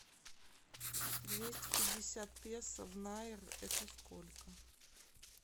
двести пятьдесят песо в найр это сколько